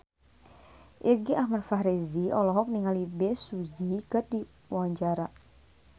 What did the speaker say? Irgi Ahmad Fahrezi olohok ningali Bae Su Ji keur diwawancara